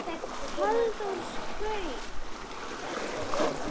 Halldór saug upp í nefið.